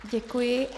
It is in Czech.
Děkuji.